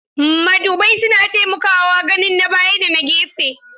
Madubai suna taimakawa ganin na baya da na gefe.